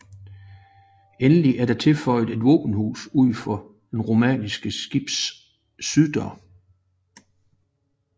Endelig er der tilføjet et våbenhus ud for det romanske skibs syddør